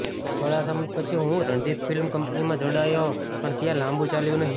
થોડા સમય પછી હું રણજિત ફિલ્મ કંપનીમાં જોડાયો પણ ત્યાં લાંબું ચાલ્યું નહીં